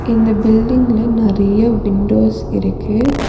இந்த பில்டிங்ல நெறைய விண்டோஸ் இருக்கு.